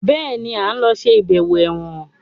Béèni a ló ń ṣe ibẹwo èwòn.